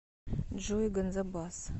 джой ганзабаз